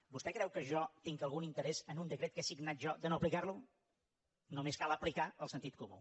vostè creu que jo tinc algun interès en un decret que he signat jo de no aplicar lo només cal aplicar el sentit comú